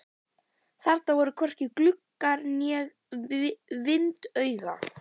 Þarna var hvorki gluggi né vindauga.